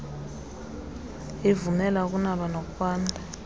ivumela ukunaba nokwanda